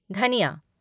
धनिया